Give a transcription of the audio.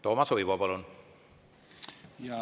Toomas Uibo, palun!